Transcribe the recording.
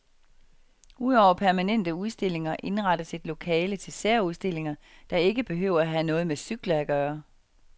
Udover permanente udstillinger indrettes et lokale til særudstillinger, der ikke behøver at have noget med cykler at gøre.